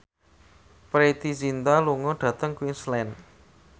Preity Zinta lunga dhateng Queensland